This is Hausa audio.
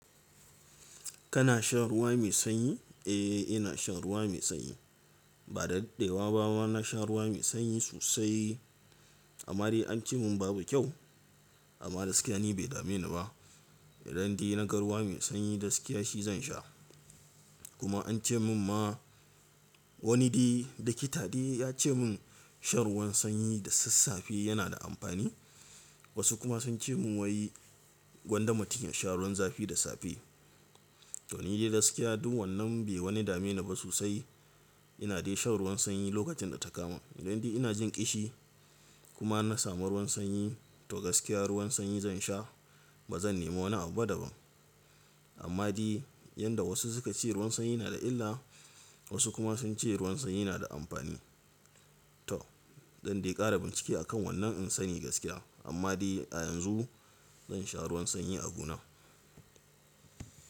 Kana shan ruwa mai sanyi? Eh, ina shan ruwa mai sanyi. Ba da daddewa ba ma na sha ruwa mai sanyi sosai. Amma dai an ce mun babu kyau amma gaskiya ni bai dame ni ba. Idan dai na ga ruwa mai sanyi gaskiya shi zan sha. Kuma an ce min ma wani dai, dokita dai ya ce mun shan ruwan sanyi da sassafe yana da amfani. Wasu kuma sun ce mu wai gwanda mutun ya sha ruwan zafi da safe. To ni dai gaskiya duk wannan bai wani dame ni ba sosai. Ina dai shan ruwan sanyi lokacin da ta kama. Idan dai ina jin kishi kuma na samu ruwan sanyi to gaskiya ruwan sanyi zan sha ba zan nemo na abu ba daban. Amma dai yadda wasu suka ce ruwan sanyi na da illa wasu kuma sun ce ruwan sanyi na da amfani. To dan dai kara bincike a kan wannan in sani gaskiya. Amma dai a yanzu zan sha ruwan sanyi abuna.